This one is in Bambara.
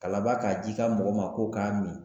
Ka laba k'a d'i ka mɔgɔ ma k'o k'a min